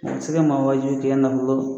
man waajibi kɛ nafolo